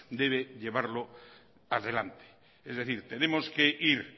debe llevarlo a delante es decir tenemos que ir